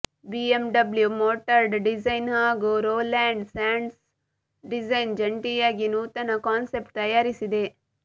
BMW Motorrad design ಹಾಗೂ Roland Sands Design ಜಂಟಿಯಾಗಿ ನೂತನ ಕಾನ್ಸೆಪ್ಟ್ ತಯಾರಿಸಿದೆ